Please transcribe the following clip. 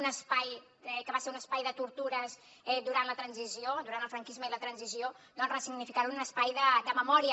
un espai que va ser un espai de tortures durant la transició durant el franquisme i la transició doncs ressignificar lo en un espai de memòria